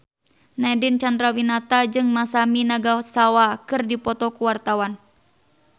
Nadine Chandrawinata jeung Masami Nagasawa keur dipoto ku wartawan